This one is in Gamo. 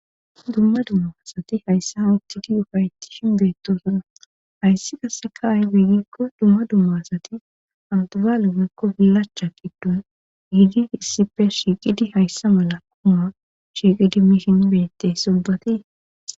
dumma dumma asati hayssa hawuttidi ufaytti shingeetosuna hayssi kasseka ay biigikko dumma dumma asati awtabalu gekko bilaacha giddu giidi issife shiiqidi hayssa mala kuma shiiqidi mihin bettey sobatii